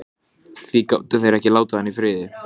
Auðvitað eru engin tvö börn eins.